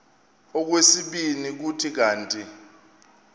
okwesibini kuthi kanti